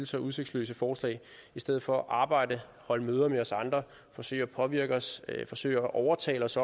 så udsigtsløse forslag i stedet for at arbejde holde møder med os andre forsøge at påvirke os forsøge at overtale os